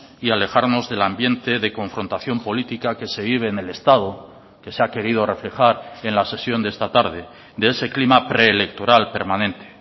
y alejarnos del ambiente de confrontación política que se vive en el estado que se ha querido reflejar en la sesión de esta tarde de ese clima preelectoral permanente